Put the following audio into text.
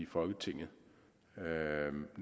folketinget